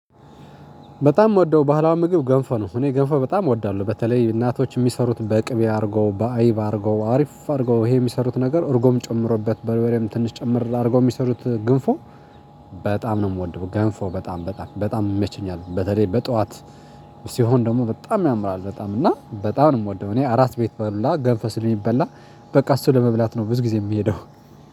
በጣም ምወደው ባህላዊ ምግብ ገንፎ ነው። እኔ ገንፎ በጣም እወዳለሁ። በተለይ እናቶች የሚሰሩት በቅቤ አድርገው፣ በአይብ አድርገው፣ አሪፍ አድርገው ይሄ የሚሰሩት ነገር እርጎም ጨምረውበት፣ በርበሬም ትንሽ ጨመር አድርገው የሚሰሩት ግንፎ በጣም ነው የምወደው ገንፎ በጣም በጣም በጣም ይመችኛል። በተለይ በጧት ሲሆን ደግሞ በጣም ያምራል በጣም፤ እና በጣም ነው የምወደው። እኔ አራስ ቤት በ ሁላ ገንፎ ስለሚበላ በቃ እሱን ለመብላት ነው ብዙ ጊዜ የምሄደው።